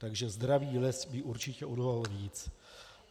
Takže zdravý les by určitě odolal víc.